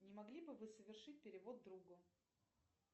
не могли бы вы совершить перевод другу